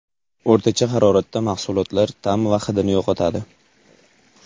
O‘rtacha haroratda mahsulotlar ta’m va hidini yo‘qotadi.